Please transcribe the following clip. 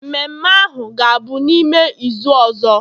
Mmemme ahu ga-abụ n'ime izu ọzọ